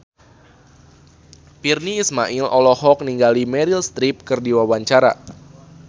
Virnie Ismail olohok ningali Meryl Streep keur diwawancara